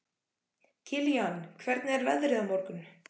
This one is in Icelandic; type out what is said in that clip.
Kilían, hvernig er veðrið á morgun?